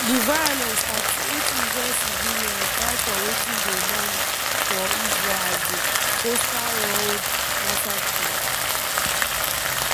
from di violence 38 israeli civilians die for wetin dey known for israel as di coastal road massacre.